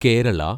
Kerala